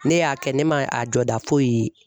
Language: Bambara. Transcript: Ne y'a kɛ ne ma a jɔda foyi ye.